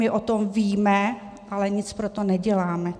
My o tom víme, ale nic pro to neděláme.